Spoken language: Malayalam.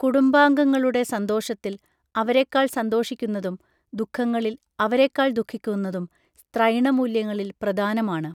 കുടുംബാംഗങ്ങളുടെ സന്തോഷത്തിൽ അവരെക്കാൾ സന്തോഷിക്കുന്നതും ദുഃഖങ്ങളിൽ അവരെക്കാൾ ദുഃഖിക്കുന്നതും സ്ത്രൈണമൂല്യങ്ങളിൽ പ്രദാനമാണ്